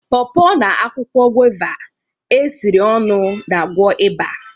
paw paw na akwụkwọ guava esiri ọnụ na-agwọ ịba